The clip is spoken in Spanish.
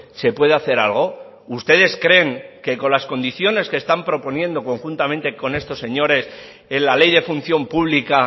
se puede hacer algo ustedes creen que con las condiciones que están proponiendo conjuntamente con estos señores en la ley de función pública